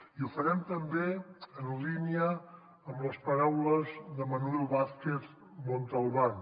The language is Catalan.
i ho farem també en línia amb les paraules de manuel vázquez montalbán